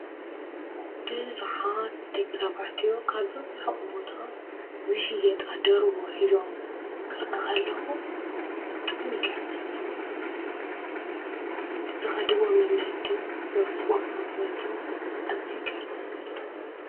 ብዙሓት ደቂ ተባዕትዮ ካብሪ ሕቕቦታ ዝሽየጣ ደርሁ ሒዞም ክርኢ ኸለኹ ብጣዕሚ ይገርምኒ ትዘኸድዎ መንገድን ዘወጽዎ ዓቕበት እዙ ይገርምን።